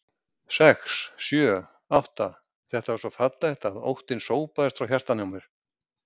sex. sjö. átta. þetta var svo fallegt að óttinn sópaðist frá hjartanu á mér.